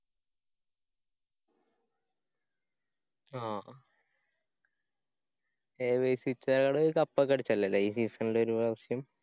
ആ ഹ എ വെെ സിക്സ്കാര് ഒരു cup ഒക്കെ അടിച്ചല്ലോല്ലേ? ഈ season ല് ഒരുപ്രാവശ്യം?